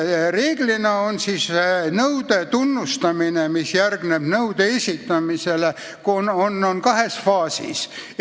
Reeglina on nõude tunnustamine, mis järgneb nõude esitamisele, kahes faasis.